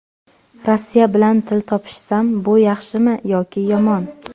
Rossiya bilan til topishsam, bu yaxshimi yoki yomon?